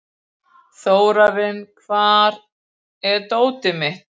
Þórarinn, hvar er dótið mitt?